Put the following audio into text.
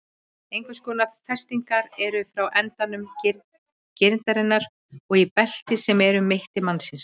Einhvers konar festingar eru frá endum grindarinnar og í belti sem er um mitti mannsins.